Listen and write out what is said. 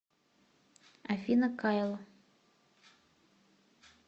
афина кайл